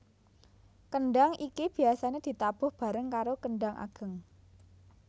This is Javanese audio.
Kendhang iki biasane ditabuh bareng karo kendhang ageng